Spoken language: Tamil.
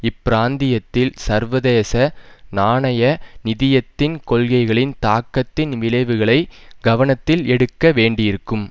இப் பிராந்தியத்தில் சர்வதேச நாணய நிதியத்தின் கொள்கைகளின் தாக்கத்தின் விளைவுகளை கவனத்தில் எடுக்க வேண்டிருக்கும்